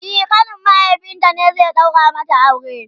e ƙanin mahaifinta ne zai daura mata aure